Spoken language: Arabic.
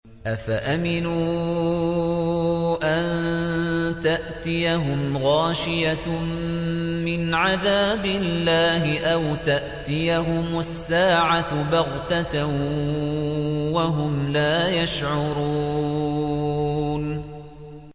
أَفَأَمِنُوا أَن تَأْتِيَهُمْ غَاشِيَةٌ مِّنْ عَذَابِ اللَّهِ أَوْ تَأْتِيَهُمُ السَّاعَةُ بَغْتَةً وَهُمْ لَا يَشْعُرُونَ